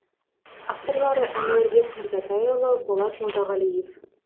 авторлары әнуарбек мырзатайұлы болат молдағалиев